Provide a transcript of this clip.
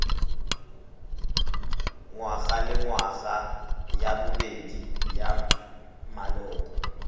ngwagalengwaga ya bobedi ya maloko